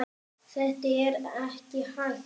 Þetta er ekki hægt.